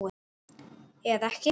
Eða ekki!